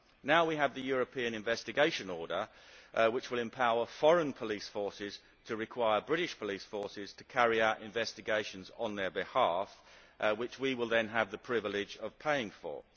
Now we have the European Investigation Order, which will empower foreign police forces to require British police forces to carry out investigations on their behalf, which we will then have the privilege of paying for.